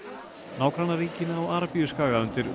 nágrannaríkin á Arabíuskaga undir